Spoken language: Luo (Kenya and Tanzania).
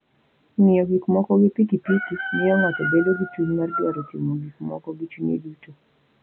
Ng'iyo gik moko gi piki piki miyo ng'ato bedo gi chuny mar dwaro timo gik moko gi chunye duto.